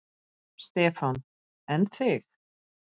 Stefán: En þig?